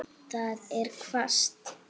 Það er hvasst.